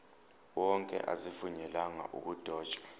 wonke azivunyelwanga ukudotshwa